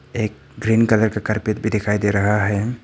एक green colour का carpet भी दिखाई दे रहा है।